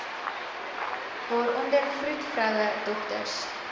waaronder vroedvroue dokters